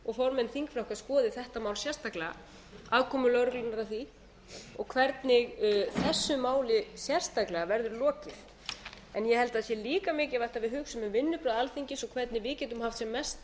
og formenn þingflokka skoði þetta mál sérstaklega aðkomu lögreglunnar að því og hvernig þessu máli sérstaklega verður lokið en ég held að það sé líka mikilvægt að við hugsum um vinnubrögð alþingis og hvernig við getum haft sem mest